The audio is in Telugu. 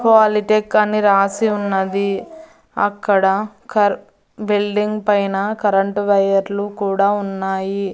పాలిటెక్ అని రాసి ఉన్నది అక్కడ కర్ బిల్డింగ్ పైన కరెంటు వైర్ లు కూడా ఉన్నాయి.